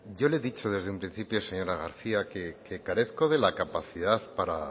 yo le he dicho desde un principio señora garcía que carezco de la capacidad para